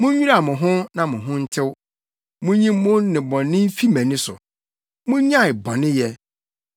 “Munnwira mo ho na mo ho ntew. Munnyi mo nnebɔne mfi mʼani so! Munnyae bɔneyɛ,